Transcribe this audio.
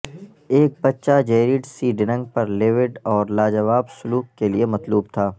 ایک بچہ Jared C Dunning پر لیوڈ اور لاجواب سلوک کے لئے مطلوب تھا